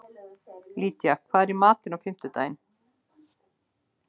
Lydía, hvað er í matinn á fimmtudaginn?